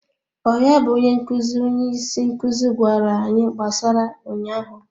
Ọ ya bụ onye nkụzi, onye isi nkuzi gwara anyị gbasara ụnyaahụ?